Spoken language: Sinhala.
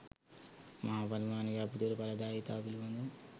මහා පරිමාණ ව්‍යාපෘතිවල ඵලදායීතාව පිළිබඳ